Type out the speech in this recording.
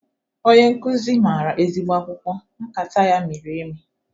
Onye nkụzi mara ezigbo akwụkwọ! Nkata ya miri emi